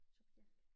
Subjekt